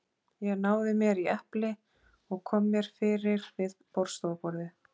Ég náði mér í epli og kom mér fyrir við borðstofuborðið.